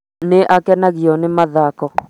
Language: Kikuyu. nĩ akenagio nĩ mathako